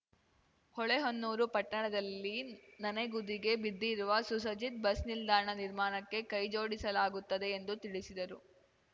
ಹೊಳೆಹೊನ್ನೂರು ಪಟ್ಟಣದಲ್ಲಿ ನನೆಗುದಿಗೆ ಬಿದ್ದರುವ ಸುಸಜ್ಜಿತ್ ಬಸ್‌ ನಿಲ್ದಾಣ ನಿರ್ಮಾಣಕ್ಕೆ ಕೈ ಜೋಡಿಸಲಾಗುತ್ತದೆ ಎಂದು ತಿಳಿಸಿದರು